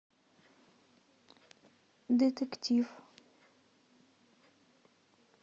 детектив